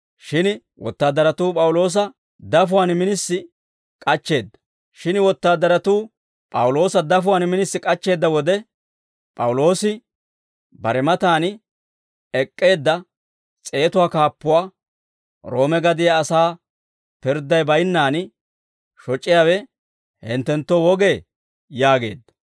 Shin wotaadaratuu P'awuloosa dafuwaan minisi k'achcheedda wode, P'awuloosi bare matan ek'k'eedda s'eetatuwaa kaappuwaa, «Roome gadiyaa asaa pirdday baynnaan shoc'iyaawe hinttenttoo wogee?» yaageedda.